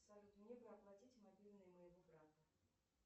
салют мне бы оплатить мобильный моего брата